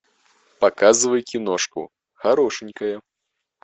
показывай киношку хорошенькая